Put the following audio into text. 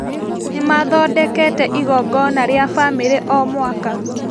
Nĩmathondekete igongona rĩa bamĩri o mwaka